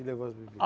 E levou as bebida.